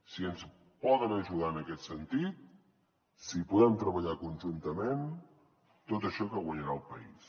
si ens poden ajudar en aquest sentit si podem treballar conjuntament tot això que guanyarà el país